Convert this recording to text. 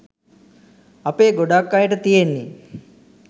අපේ ගොඩක් අයට තියෙන්නේ